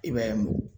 I b'a ye